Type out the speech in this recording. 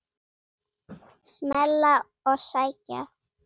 Smella og sækja.